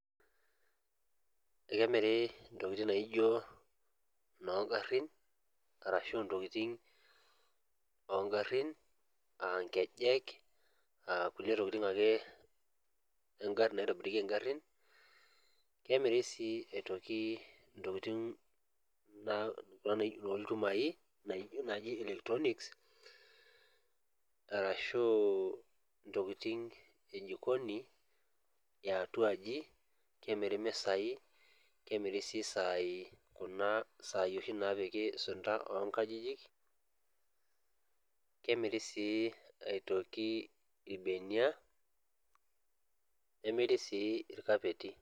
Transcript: Ekemiri intokiting naijio inoongarin arashu intokiting ongarrin ankejek akulie tokiting ake engarri naitobirieki ingarrin kemiri sii aitoki intokiting naa kuna nai nolchumai naaji electronics arashu intokiting e jikoni eatua aji kemiri imisai kemiri sii isaai kuna saai oshi napiki isunta onkajijik kemiri sii aitoki irbenia nemiri sii irkapeti.